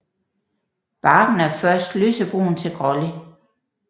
Barken er først lysebrun til grålig